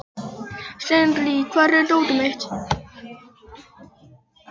Sírnir, hvar er dótið mitt?